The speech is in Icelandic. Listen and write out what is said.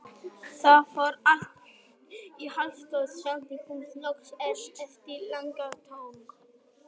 Það fór allt í háaloft, sagði hún loks eftir langa þögn.